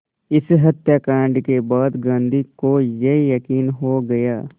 इस हत्याकांड के बाद गांधी को ये यक़ीन हो गया